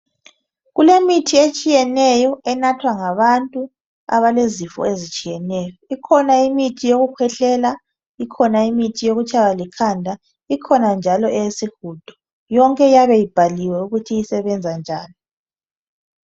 kulemithi etshiyeneyo enathwa ngabantu abalezifo ezihlukeneyo ikhona eyokukhwehlela ikhona imithi yokutshaywa likhanda ikhona njalo eyesigudo yonke iyabe ibhaliwe ukuthi isebenza njani